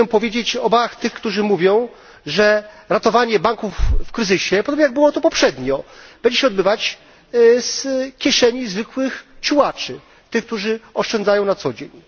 Chcę powiedzieć o obawach tych, którzy mówią, że ratowanie banków w kryzysie podobnie jak poprzednio będzie się odbywać z kieszeni zwykłych ciułaczy, tych, którzy oszczędzają na co dzień.